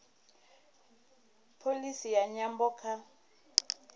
pholisi ya nyambo kha